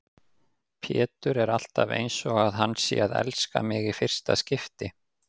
Pétur er alltaf einsog hann sé að elska mig í fyrsta skipti.